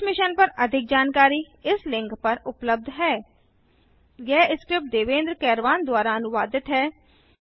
इस मिशन पर अधिक जानकारी इस लिंक पर उपलब्ध हैhttpspoken tutorialorgNMEICT Intro यह स्क्रिप्ट देवेन्द्र कैरवान द्वारा अनुवादित है